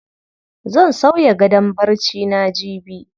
Zan sauya gadon barcina jibi.